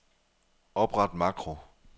Opret makro.